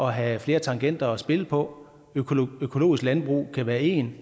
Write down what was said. have flere tangenter at spille på økologisk landbrug kan være en